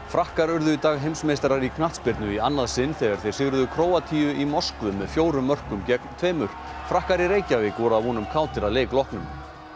frakkar urðu í dag heimsmeistarar í knattspyrnu í annað sinn þegar þeir sigruðu Króatíu í Moskvu með fjórum mörkum gegn tveimur frakkar í Reykjavík voru að vonum kátir að leik loknum